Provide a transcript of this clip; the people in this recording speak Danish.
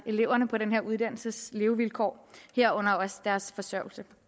eleverne på den her uddannelses levevilkår herunder også deres forsørgelse